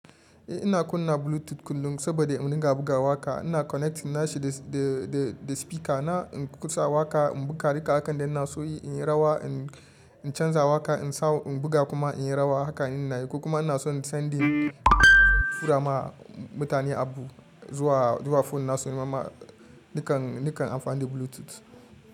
Eh ina kunna Bluetooth kullum saboda in riga buga waƙa. Ina connecting nashi da, da, da spika na in kusa waƙa in buga duka abun da ina so yi, in yi rawa, in canza waƙa, in sawo in buga kuma in yi rawa. Hakan ina yi. Kuma ina son sending tura ma mutane abu zuwa, zuwa phone na su kuma nakan, nakan amfani da Bluetooth.